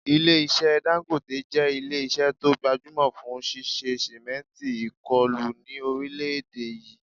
Ilé-iṣẹ́ Dangote jẹ́ ilé-iṣẹ́ tó gbajúmọ̀ fún ṣíṣe sìmẹ́ǹtì ìkọlù ni orile èdè yìí